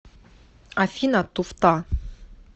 афина туфта